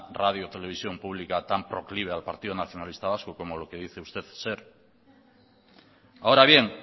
radio televisión público tan proclive al partido nacionalista vasco como lo que dice usted ser ahora bien